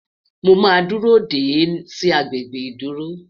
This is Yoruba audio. Mó má dúró dé e sì agbègbè ìdúró